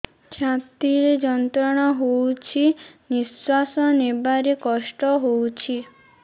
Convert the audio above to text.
ଛାତି ରେ ଯନ୍ତ୍ରଣା ହଉଛି ନିଶ୍ୱାସ ନେବାରେ କଷ୍ଟ ହଉଛି